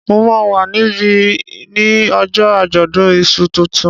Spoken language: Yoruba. Mo máa wà níbí ní ojó àjọ̀dún iṣu tuntun